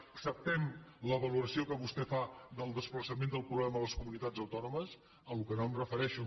acceptem la valoració que vostè fa del desplaçament del problema a les comunitats autònomes a la qual cosa no em refereixo